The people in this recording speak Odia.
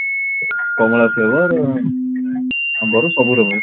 କମଳା flavour ଆମ୍ବର ସବୁ flavour